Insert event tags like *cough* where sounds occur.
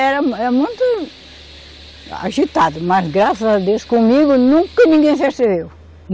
Era, era muito agitado, mas graças a Deus comigo nunca ninguém se *unintelligible*